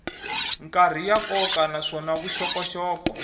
karhi ya nkoka naswona vuxokoxoko